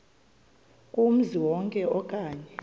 kumzi wonke okanye